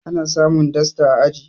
ana samun dasta a aji